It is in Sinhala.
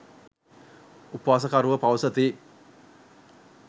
උපවාසකරුවෝ පවසති.